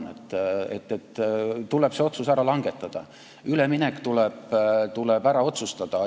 See otsus tuleb ära langetada, üleminek tuleb ära otsustada.